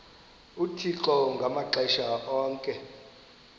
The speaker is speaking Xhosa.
uthixo ngamaxesha onke